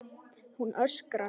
Hún öskrar.